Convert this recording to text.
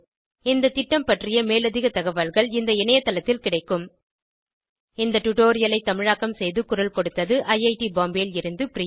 இந்த திட்டம் பற்றிய மேலதிக தகவல்கள் இந்த இணையத்தளத்தில் கிடைக்கும் இந்த டுடோரியலை தமிழாக்கம் செய்து குரல் கொடுத்தது ஐஐடி பாம்பேவில் இருந்து பிரியா